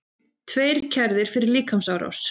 Tveir kærðir fyrir líkamsárás